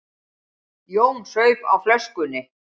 Jón saup á flöskunni.